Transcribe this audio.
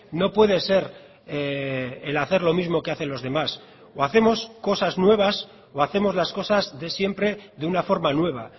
no puede ser el hacer lo mismo que hacen los demás o hacemos cosas nuevas o hacemos las cosas de siempre de una forma nueva